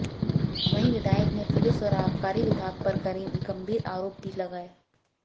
वहीं विधायक ने पुलिस और आबकारी विभाग पर गंभीर आरोप भी लगाए